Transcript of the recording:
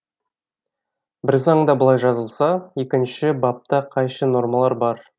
бір заңда былай жазылса екінші бапта қайшы нормалар бар